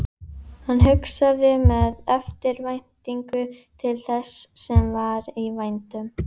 Hann hugsaði með eftirvæntingu til þess sem var í vændum.